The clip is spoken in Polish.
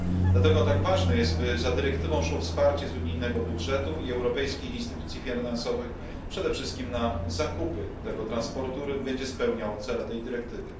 Dlatego tak ważne jest, by za dyrektywą szło wsparcie z unijnego budżetu i europejskich instytucji finansowych, przede wszystkim na zakupy tego transportu, który będzie spełniał cele tej dyrektywy.